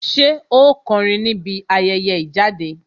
Ṣé ó kọrin níbi ayẹyẹ ìjáde